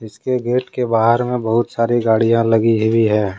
इसके गेट के बाहर में बहुत सारी गाड़ियां लगी हुई है।